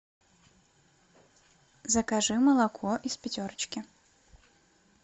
закажи молоко из пятерочки